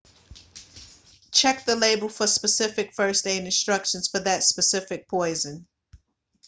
check the label for specific first aid instructions for that specific poison